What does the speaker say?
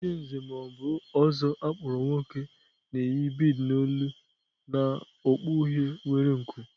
Otu onye Nze ma ọ bụ Ozo akpọrọ nwoke na-eyi bead n'olu na okpu uhie nwere nku.